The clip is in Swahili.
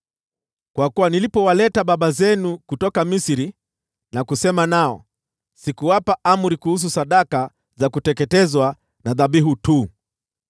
Kwa kuwa nilipowaleta baba zenu kutoka Misri na kusema nao, sikuwapa amri kuhusu sadaka za kuteketezwa na dhabihu tu,